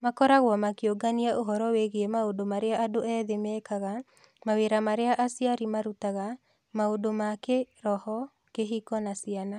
Makoragwo makĩũngania ũhoro wĩgiĩ maũndũ marĩa andũ ethĩ mekaga, mawĩra marĩa aciari marutaga, maũndũ ma kĩĩroho, kĩhiko na ciana.